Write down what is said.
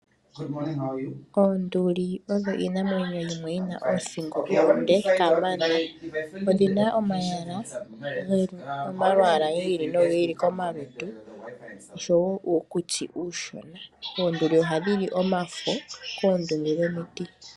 Oonduli oyo iinamwenyo mbyono yi na oothingo oonde. Odhi na omalwaa gi ili no gi ili komalutu, osho woo uukutsi uushona. Oonduli oha dhi li omafo koondungu dhomiti.